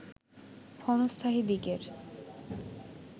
ক্ষণস্থায়ী দিকের